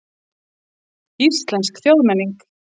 Íslensk þjóðmenning.